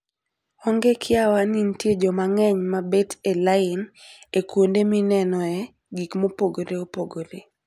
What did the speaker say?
Onge kiawa ni nitie joma ng'eny ma bet e lain e kuonde minenoe gik mopogore opogore.